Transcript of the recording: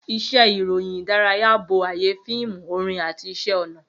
Iṣẹ́ ìròyìn ìdárayá bo ayé fíìmù, orin àti iṣẹ́ ọnà.